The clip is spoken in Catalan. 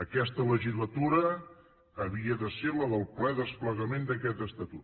aquesta legislatura havia de ser la del ple desplegament d’aquest estatut